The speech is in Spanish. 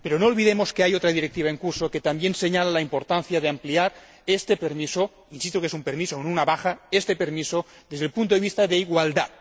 Pero no olvidemos que hay otra directiva en curso que también señala la importancia de ampliar este permiso —insisto en que es un permiso y no una baja— desde el punto de vista de la igualdad.